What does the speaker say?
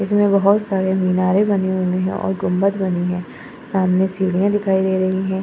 इसमें बहोत सारे मीनारें बनी हुई हैं और गुमंद बनी हैं। सामने सीढ़ियाँ दिखाई दे रही हैं।